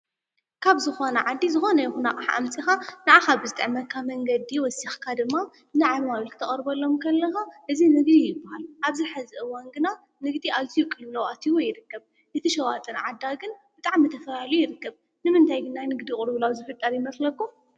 ካብ ዝኮነ ዓዲ ዝኾነ ይኩን አቅሓ አምፂካ ንዓካ ብዝጥዕመካ መንገዲ ወሲካ ድማ ንዓማዊል ክተቅርበሎም ከለካ እዚ ንግዲ ይበሃል። አብዚ ሐዚ እዋን ግና ንግዲ አዝዩ ቅልዉላው ኣትይዎ ይርከብ። እቲ ሸዋጥን ዓዳግን ብጣዕሚ ተፈላልዩ ይርከብ። ንምንታይ ግን ናይ ንግዲ ቅልዉላው ዝፍጠር ይመስለኩም?